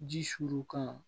Ji suru ka